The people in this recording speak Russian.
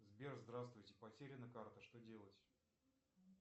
сбер здравствуйте потеряна карта что делать